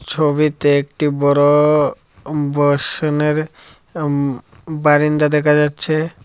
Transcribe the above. ছবিতে একটি বড় উম বসনের উম বারান্দা দেখা যাচ্ছে।